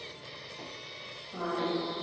Marín